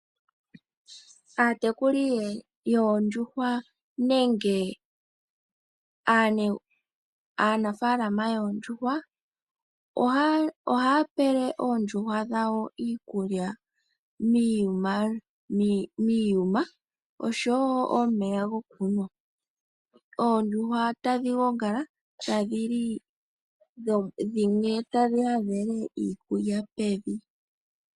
Aatekuli yoondjuhwa nenge aanafaalama yoondjuhwa ohaya pele oondjuhwa dhawo iikulya miiyuma osho wo omeya gokunwa. Ondjuhwa tadhi gongala, tadhi li, dhimwe tadhi hadhele iikulya pevi.